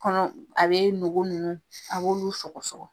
Kɔnɔ a be nogo nunnu , a b'olu sɔgɔ sɔgɔ.